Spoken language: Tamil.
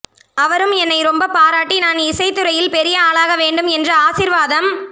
அவரும் என்னை ரொம்ப பாராட்டி நான் இசைத்துறையில் பெரிய ஆளாக வேண்டும் என்று ஆசீர்வாதம்